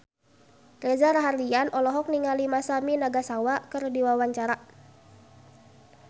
Reza Rahardian olohok ningali Masami Nagasawa keur diwawancara